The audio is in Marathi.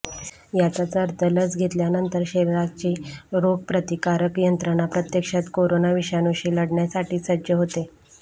याचाच अर्थ लस घेतल्यानंतर शरीराची रोगप्रतिकारक यंत्रणा प्रत्यक्षात कोरोना विषाणूशी लढण्यासाठी सज्ज होते